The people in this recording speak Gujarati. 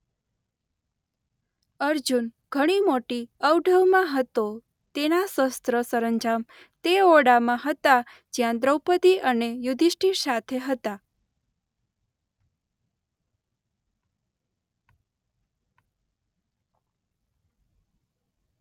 અર્જુન ઘણી મોટી અવઢવમાં હતો તેના શસ્ત્ર સરંજામ તે ઓરડામાં હતાં જ્યાં દ્રૌપદી અને યુધિષ્ઠીર સાથે હતાં.